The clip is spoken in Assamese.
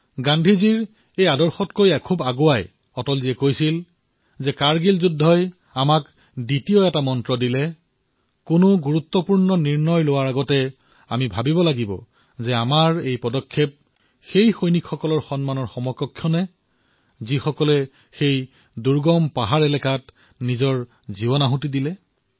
গান্ধীজীৰ এই চিন্তাৰো ঊৰ্ধলৈ গৈ অটলজীয়ে কৈছিল যে কাৰ্গিল যুদ্ধই আমাক দ্বিতীয়টো মন্ত্ৰ দিছে এই মন্ত্ৰ হল যে কোনো গুৰুত্বপূৰ্ণ সিদ্ধান্ত গ্ৰহণ কৰাৰ পূৰ্বে এয়া নিশ্চয়কৈ চিন্তা কৰক যে আমাৰ এই পদক্ষেপে সেই সৈনিকৰ সন্মানৰ অনুৰূপ হৈছে নে যিয়ে সেই দুৰ্গম পাহাৰত নিজৰ প্ৰাণৰ আহুতি দিছে